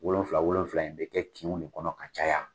Wolonwula wolonwula in o bɛ kɛ kin de kɔnɔ ka caya.